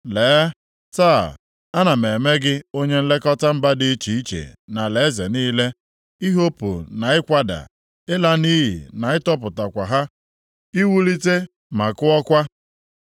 Lee, taa, ana m eme gị onye nlekọta mba dị iche iche na alaeze niile, ihopu na ikwada, ịla nʼiyi na ịtịkpọkwa ha, i wulite ma kụọkwa.”